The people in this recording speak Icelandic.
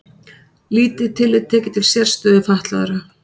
Lítið tillit tekið til sérstöðu fatlaðra